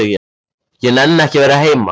Ég nenni ekki að vera heima.